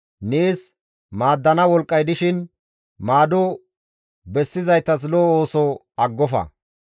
Nees maaddana wolqqay dishin maado bessizaytas lo7o ooso aggofa.